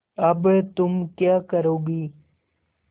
अब तुम क्या करोगी